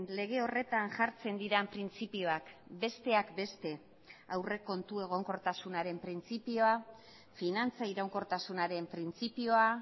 lege horretan jartzen diren printzipioak besteak beste aurrekontu egonkortasunaren printzipioa finantza iraunkortasunaren printzipioa